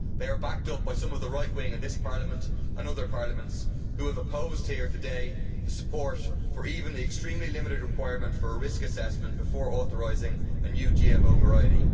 They are backed up by some of the right wing in this Parliament and other parliaments who have opposed here today the support for even the extremely limited requirement for a risk assessment before authorising a new GMO variety.